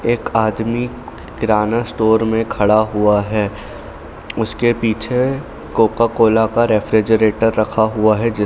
एक आदमी किराना स्टोर में खड़ा हुआ है उसके पीछे कोका-कोला का रेफ़्रिजरेटर रखा हुआ है।